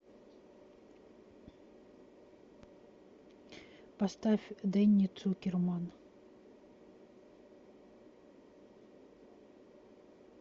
поставь дэнни цукерман